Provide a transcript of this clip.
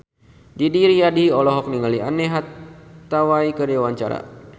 Didi Riyadi olohok ningali Anne Hathaway keur diwawancara